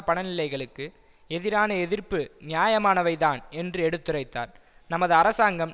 பணிநிலைகளுக்கு எதிரான எதிர்ப்பு நியாயமானவைதான் என்று எடுத்துரைத்தார் நமது அரசாங்கம்